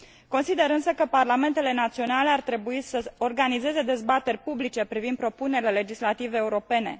Consider însă că parlamentele naționale ar trebui să organizeze dezbateri publice privind propunerile legislative europene.